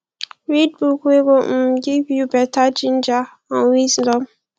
read book wey go um give yu beta ginger and wisdom